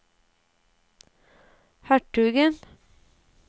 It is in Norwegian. hertugen